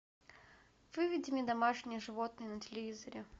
выведи мне домашние животные на телевизоре